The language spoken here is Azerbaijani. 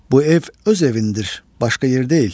Bu ev öz evindir, başqa yer deyil.